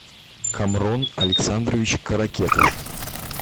камрон александрович каракетов